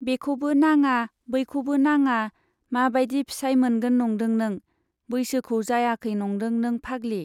बेखौबो नाङा, बैखौबो नाङा मा बाइदि फिसाइ मोनगोन नंदों नों ? बैसोखौ जायाखै नंदों नों फाग्लि ?